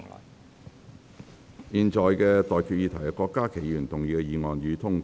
我現在向各位提出的待決議題是：郭家麒議員動議的議案，予以通過。